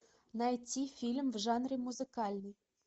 найти фильм в жанре музыкальный